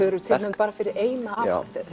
eru tilnefnd bara fyrir eina af